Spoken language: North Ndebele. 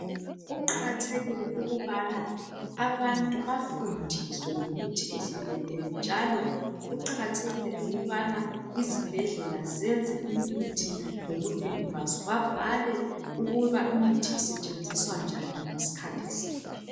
Kuqakathekile ukubana abantu bafundiswe ngemithi ehlukeneyo. Njalo kuqakathekile ukubana izibhedlela zenze imithi ngobunengi bazo .Babhale ukuba imithi isetshenziswa njani ngesikhathi siphi .